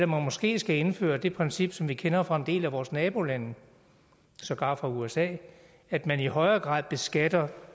man måske skal indføre det princip som vi kender fra en del af vores nabolande sågar fra usa at man i højere grad beskatter